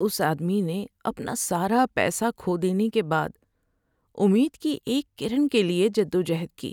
اس آدمی نے اپنا سارا پیسہ کھو دینے کے بعد امید کی ایک کرن کے لیے جدوجہد کی۔